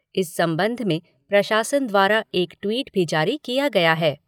इस संबंध में प्रशासन द्वारा एक ट्वीट भी जारी किया गया है।